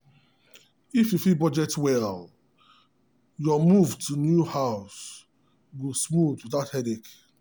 if you fit budget well your move to new house go smooth without headache.